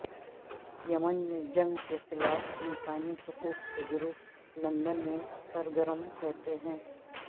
یمن میں جنگ کے خلاف انسانی حقوق کے گروپ لندن میں سرگرم رہتے ہیں